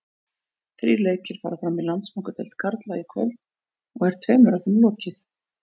Þrír leikir fara fram í Landsbankadeild karla í kvöld og er tveimur af þeim lokið.